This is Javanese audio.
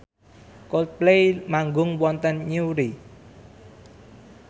Coldplay manggung wonten Newry